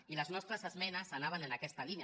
i les nostres esmenes anaven en aquesta línia